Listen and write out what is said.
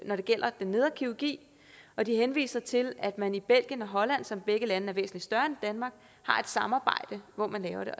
når det gælder den nedre kirurgi og de henviser til at man i belgien og holland som begge lande er væsentlig større end danmark har et samarbejde hvor man laver